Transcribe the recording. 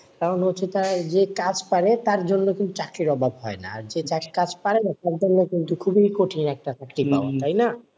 কারণ হচ্ছে যে কাজ পারে তার জন্য কিন্তু চাকরির অভাব হয় না, আর যে যার কাজ পারেনা তার জন্য কিন্তু খুবই কঠিন একটা চাকরি পাওয়া, তাই না,